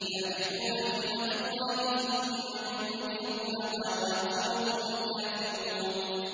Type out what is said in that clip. يَعْرِفُونَ نِعْمَتَ اللَّهِ ثُمَّ يُنكِرُونَهَا وَأَكْثَرُهُمُ الْكَافِرُونَ